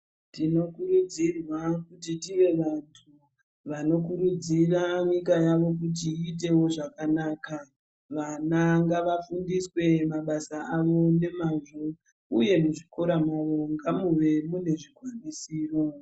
Tinokurudzirwa kuti tive vantu vano kuridzira kuti nyika yavo iyite wo zvakanaka vana ngavafundiswe mabasa avo nemazvo uye muchikora mwomo ngamuve mune zvikwanisiro.